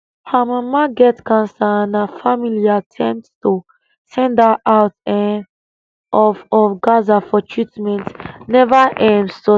her mama get cancer and her family attempts to send her out um of of gaza for treatment never um succeed